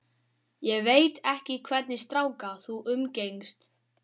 Ég veit ekki hvernig stráka þú umgengst.